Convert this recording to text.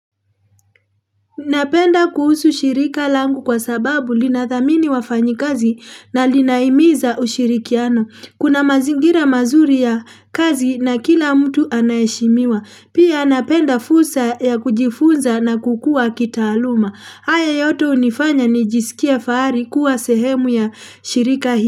Napenda kuhusu shirika langu kwa sababu linathamini wafanyikazi na linaimiza ushirikiano. Kuna mazingira mazuri ya kazi na kila mtu anaheshimiwa. Pia napenda fursa ya kujifunza na kukua kitaaluma. Haya yote unifanya nijisikie faari kuwa sehemu ya shirika hii.